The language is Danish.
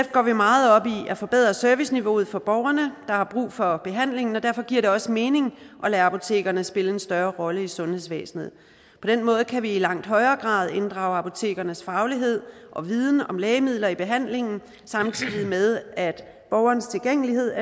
går vi meget op i at forbedre serviceniveauet for borgerne der har brug for behandlingen og derfor giver det også mening at lade apotekerne spille en større rolle i sundhedsvæsenet på den måde kan vi i langt højere grad inddrage apotekernes faglighed og viden om lægemidler i behandlingen samtidig med at borgerens tilgængelighed